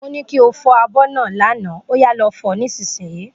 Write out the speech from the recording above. Mo ní kí o fo abó náà l'ana, óyá lo fo nísìsiyìí